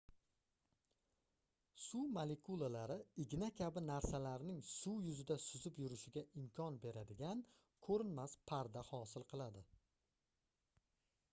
suv molekulalari igna kabi narsalarning suv yuzida suzib yurishiga imkon beradigan koʻrinmas parda hosil qiladi